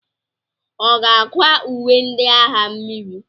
Ọ ga-akwa uwe ndị agha mmiri?